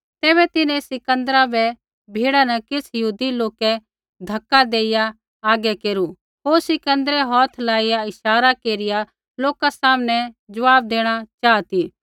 तैबै तिन्हैं सिकन्दरा बै भीड़ा न किछ़ यहूदी लोकै धक्का देइया आगै केरू होर सिकन्दरै हौथै लाइया इशारा केरिया लोका सामनै ज़वाब देणा चाहा ती